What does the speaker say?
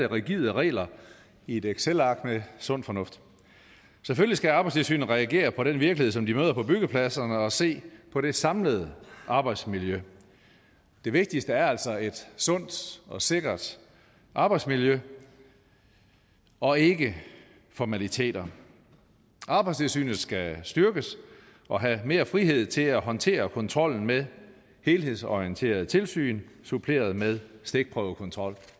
rigide regler i et excelark med sund fornuft selvfølgelig skal arbejdstilsynet reagere på den virkelighed som de møder på byggepladserne og se på det samlede arbejdsmiljø det vigtigste er altså et sundt og sikkert arbejdsmiljø og ikke formaliteter arbejdstilsynet skal styrkes og have mere frihed til at håndtere kontrollen med helhedsorienterede tilsyn suppleret med stikprøvekontrol